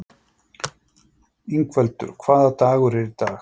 Ingveldur, hvaða dagur er í dag?